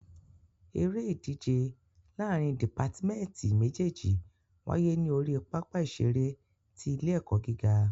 Eré ìdíje láàrín dìpátmẹ́tì méjèjì wáyé ní orí pápá ìṣeré ti ilé ẹ̀kọ́ gíga.